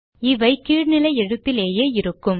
இவை கீழ் நிலை எழுத்திலேயே இருக்கும்